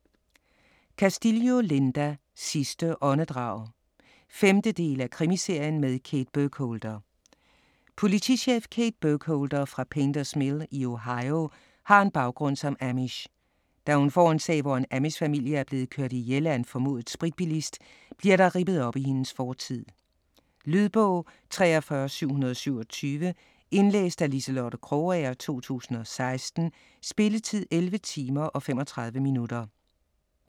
Castillo, Linda: Sidste åndedrag 5. del af krimiserien med Kate Burkholder. Politichef Kate Burkholder fra Painters Mill i Ohio har en baggrund som amish. Da hun får en sag, hvor en amishfamilie er blevet kørt ihjel af en formodet spritbilist, bliver der rippet op i hendes fortid. Lydbog 43727 Indlæst af Liselotte Krogager, 2016. Spilletid: 11 timer, 35 minutter.